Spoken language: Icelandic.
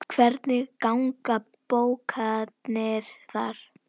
Hvernig ganga bókanir þar?